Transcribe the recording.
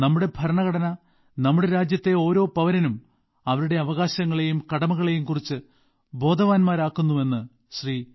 നമ്മുടെ ഭരണഘടന നമ്മുടെ രാജ്യത്തെ ഓരോ പൌരനും അവരുടെ അവകാശങ്ങളെയും കടമകളെയും കുറിച്ച് ബോധവാന്മാരാക്കുന്നുവെന്ന് ശ്രീ